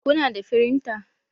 Kuna da firinta?